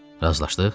Razılaşdıq?